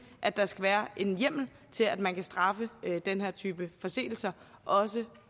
at der skal være en hjemmel til at man kan straffe den her type forseelser også